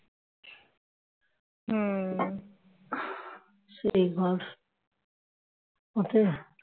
সেই ঘর হতে